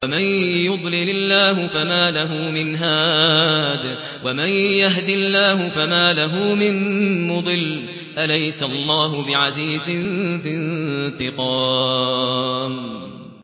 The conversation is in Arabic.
وَمَن يَهْدِ اللَّهُ فَمَا لَهُ مِن مُّضِلٍّ ۗ أَلَيْسَ اللَّهُ بِعَزِيزٍ ذِي انتِقَامٍ